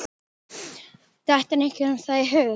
Dettur einhverjum það í hug?